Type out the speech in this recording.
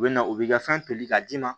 U bɛ na u b'i ka fɛn toli k'a d'i ma